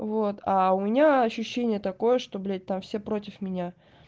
вот а у меня ощущение такое что блять там все против меня